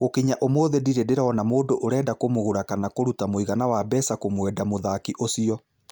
Gũkinya ũmũthĩ ndirĩ ndĩrona mũndũ ũrenda kũmũgura kana kũruta muigana wa mbeca kũmwenda mũthaki ũcio